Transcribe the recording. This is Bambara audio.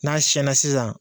N'a sɛnna sisan